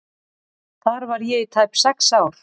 Þar var ég í tæp sex ár.